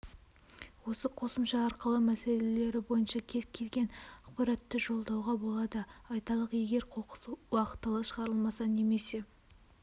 осы қосымша арқылы мәселелері бойынша кез келген ақпаратты жолдауға болады айталық егер қоқыс уақытылы шығарылмаса немесе